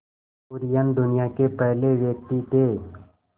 कुरियन दुनिया के पहले व्यक्ति थे